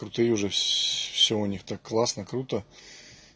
крутые уже всё у них так классно круто